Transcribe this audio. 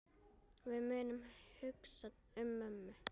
Við munum hugsa um mömmu.